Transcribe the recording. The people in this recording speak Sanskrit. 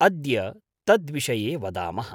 अद्य तद्विषये वदामः।